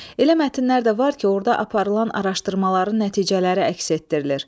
Elə mətnlər də var ki, orda aparılan araşdırmaların nəticələri əks etdirilir.